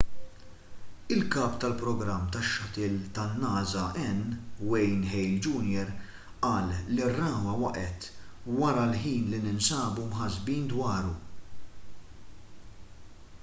il-kap tal-programm tax-shuttle tan-nasa n wayne hale jr qal li r-ragħwa waqgħet wara l-ħin li ninsabu mħassbin dwaru